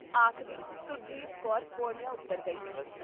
ਆਖਦੀ ਸੁਰਜੀਤ ਕੌਰ ਪੌੜੀਆਂ ਉੱਤਰ ਗਈ ਸੀ ।